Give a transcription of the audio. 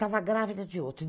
Estava grávida de outro.